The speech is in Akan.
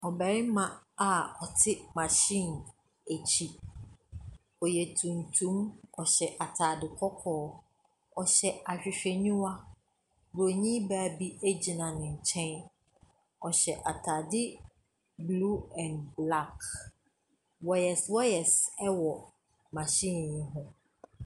Ɔbarima a ɔte machine akyi, ɔyɛ tuntum, ɔhyɛ ataade kɔkɔɔ, ɔhyɛ ahwehwɛniwa. Bronin baa bi gyina ne nkyɛn, ɔhyɛ ataade blue and black, wires wires wɔ machine yi ho.